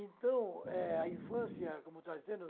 Então, eh a infância, como eu estava dizendo